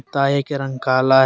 ताए का रंग काला है।